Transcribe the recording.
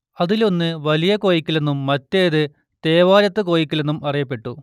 അതിലൊന്ന് വലിയ കോയിക്കലെന്നും മറ്റേതു തേവാരത്തു കോയിക്കലെന്നും അറിയപ്പെട്ടു